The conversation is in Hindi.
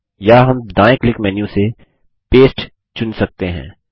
या हम दायें क्लिक मेन्यू से पस्ते चुन सकते हैं